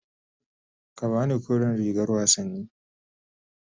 Ka ba ni kore rigar wasanni.